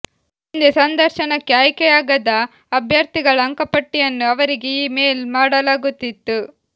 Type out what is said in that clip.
ಹಿಂದೆ ಸಂದರ್ಶನಕ್ಕೆ ಆಯ್ಕೆಯಾಗದ ಅಭ್ಯರ್ಥಿಗಳ ಅಂಕಪಟ್ಟಿಯನ್ನು ಅವರಿಗೆ ಈ ಮೇಲ್ ಮಾಡಲಾಗುತ್ತಿತ್ತು